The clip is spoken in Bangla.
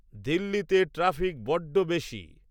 দিল্লিতে ট্রাফিক বড্ড বেশী